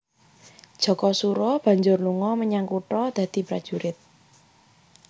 Jakasura banjur lunga menyang kutha dadi prajurit